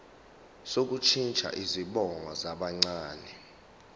sokushintsha izibongo zabancane